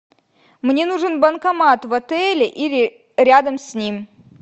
мне нужен банкомат в отеле или рядом с ним